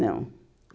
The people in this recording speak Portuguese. Não.